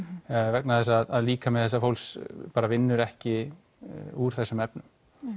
vegna þess að líkami þessa fólks vinnur ekki úr þessum efnum